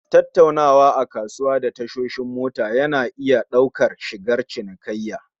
Tattaunawa a kasuwa da tashoshi mota yana iya ɗaukar sigar cinikayya